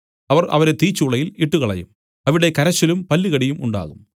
അവർ അവരെ തീച്ചൂളയിൽ ഇട്ടുകളയും അവിടെ കരച്ചിലും പല്ലുകടിയും ഉണ്ടാകും